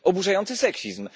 To jest oburzający seksizm.